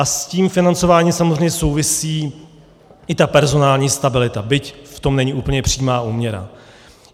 A s tím financováním samozřejmě souvisí i ta personální stabilita, byť v tom není úplně přímá úměra.